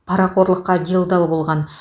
парақорлыққа делдал болған